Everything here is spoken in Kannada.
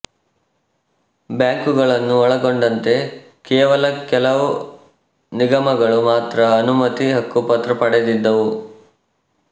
ಬ್ಯಾಂಕುಗಳನ್ನು ಒಳಗೊಂಡಂತೆ ಕೇವಲ ಕೆಲವು ನಿಗಮಗಳು ಮಾತ್ರ ಅನುಮತಿ ಹಕ್ಕುಪತ್ರ ಪಡೆದಿದ್ದವು